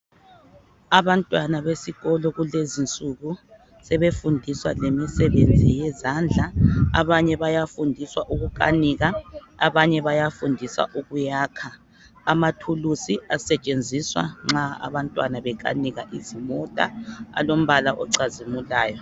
Abantwana besikolo kulezinsuku sebefundiswa lemisebenzi yezandla. Abanye bayafundiswa ukukanika abanye bayafundiswa ukuyakha. Amathulusi asetshenziswa nxa abantwana bekanika izimota alombala ocazimulayo.